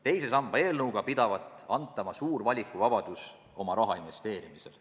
Teise samba eelnõuga pidavat antama suur valikuvabadus oma raha investeerimisel.